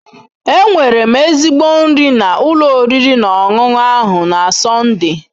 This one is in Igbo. Enwere m ezigbo nri na ụlọ oriri na ọṅụṅụ ahụ na Sọnde